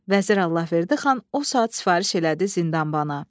Vəzir Allahverdi xan o saat sifariş elədi zindanbana.